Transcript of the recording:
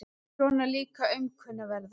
Svona líka aumkunarverða.